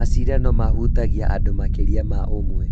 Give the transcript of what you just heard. macindano mahutagia andũ makĩria ma ũmwe